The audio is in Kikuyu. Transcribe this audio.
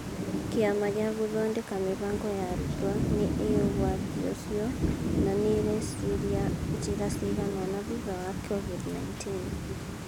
Kĩama gĩa Gũthondeka Mĩbango ya Arutwo nĩ ĩĩ ũgwati ũcio na nĩ ĩreciria njĩra cigana ũna thutha wa COVID-19